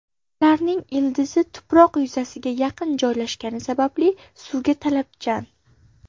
Ularning ildizi tuproq yuzasiga yaqin joylashgani sababli suvga talabchan.